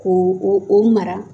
Ko o mara.